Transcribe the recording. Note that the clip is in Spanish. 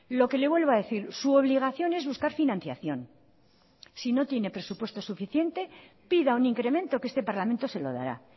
lo que le vuelvo a decir su obligación es buscar financiación si no tiene presupuesto suficiente pida un incremento que este parlamento se lo dará